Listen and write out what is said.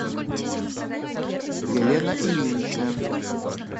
елена ильинична